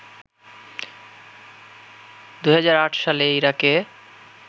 ২০০৮ সালে ইরাকে